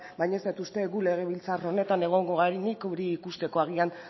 baino ez dut uste guk legebiltzar honetan egongo garenik hori ikusteko agian